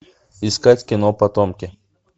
искать кино потомки